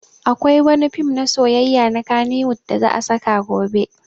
Akwai wani fim na soyayya na kannywood da za a saki gobe